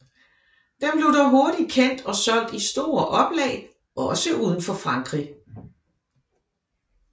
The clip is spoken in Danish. Den blev dog hurtig kendt og solgte i store oplag også uden for Frankrig